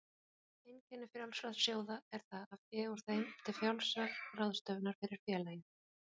Einkenni frjálsra sjóða er það að fé úr þeim er til frjálsrar ráðstöfunar fyrir félagið.